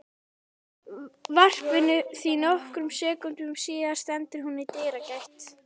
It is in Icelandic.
varpinu því nokkrum sekúndum síðar stendur hún í dyragætt